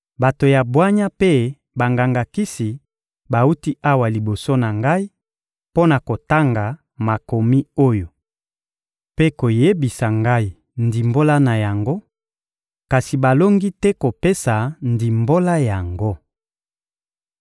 Bato ya bwanya mpe banganga-kisi bawuti awa liboso na ngai mpo na kotanga makomi oyo mpe koyebisa ngai ndimbola na yango, kasi balongi te kopesa ndimbola yango.